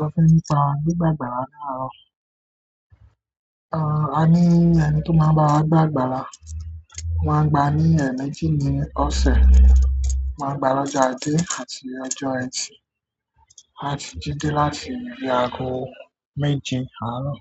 Mo fẹ́ rí ìta ni ìgbà ìgbàlà ní àárọ̀. A ní ẹni tó máa ń bá wa gbà agbàlà. Wọ́n máa ń gba ní ẹ̀ẹ̀mejì ní ọ̀sẹ̀. Wọ́n máa ń gba lọ́jọ́ ajé àti ọjọ́ ẹtì àti jídẹ́ láti bíi àgọ́ méje àárọ̀